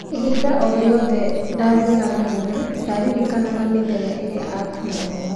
Ibinda o riothe ndathiraga mbinya ,ndaririkanaga mĩthenya ĩrĩa ndaturagwo